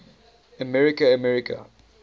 america america